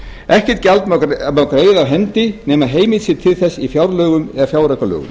ekkert gjald má greiða af hendi nema heimild sé til þess í fjárlögum eða fjáraukalögum